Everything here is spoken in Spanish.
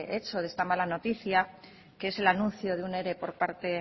hecho de esta mala noticia que es el anuncio de un ere por parte